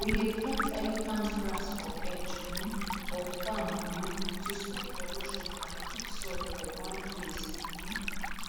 we dey plant elephant grass for edge um of farm um to stop erosion and keep soil for one place um